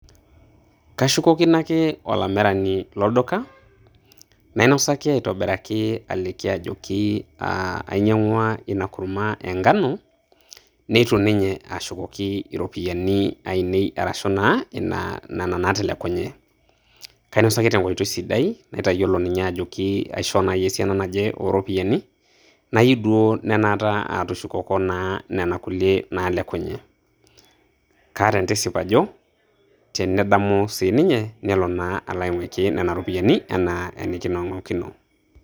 Kashukokino ake olamirani lolduka, nainosaki aitobiraki aliki ajoki aah ainyang'ua ina kurma enkano, neitu ninye aashukoki iropiyiani ainei arashu naa ina nena naatelekunye. Kainosaki tenkoitoi sidai naitayiolo ninye ajoki aishoo naaji esiana naje ooropiyiani, nayieu duo naa anaata aatushukoko naa nena kulie naalekunye. Kaata entisip ajo, tenedamu sii ninye, nelo naa alo aing'uiki nena ropiyiani anaa enikining'okino.